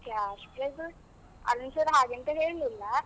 Cash prize , Arun sir ಹಾಗೆಂತ ಹೇಳ್ಲಿಲ್ಲ.